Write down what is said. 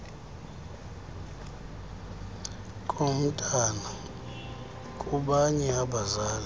komntwana kubanye abazali